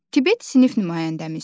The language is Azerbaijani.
Tibet sinif nümayəndəmizdir.